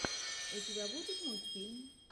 у тебя будет мультфильм